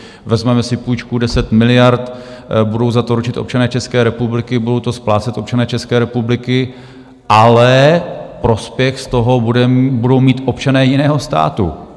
Vezmeme si půjčku 10 miliard, budou za to ručit občané České republiky, budou to splácet občané České republiky, ale prospěch z toho budou mít občané jiného státu.